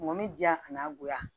Mɔbili diya a n'a goya